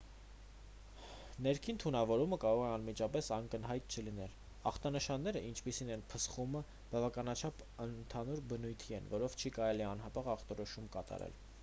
ներքին թունավորումը կարող է անմիջապես ակնհայտ չլինել ախտանշանները ինչպիսին է փսխումը բավականաչափ ընդհանուր բնույթի են որով չի կարելի անհապաղ ախտորոշում կատարել